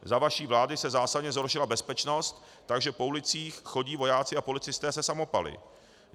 Za vaší vlády se zásadně zhoršila bezpečnost, takže po ulicích chodí vojáci a policisté se samopaly.